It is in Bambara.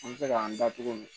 An bɛ se k'an da don